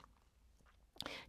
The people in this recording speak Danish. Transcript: DR2